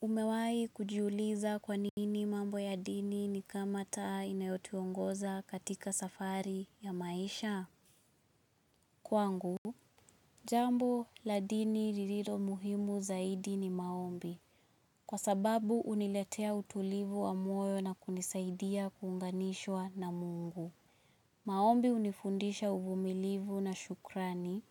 Umewahi kujiuliza kwa nini mambo ya dini ni kama taa inayotiongoza katika safari ya maisha? Kwangu, jambo la dini lililo muhimu zaidi ni maombi. Kwa sababu huniletea utulivu wa moyo, na kunisaidia kunganishwa na mungu. Maombi hunifundisha uvumilivu na shukrani,